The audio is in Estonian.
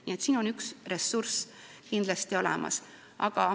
Nii et siin on ressurss kindlasti olemas.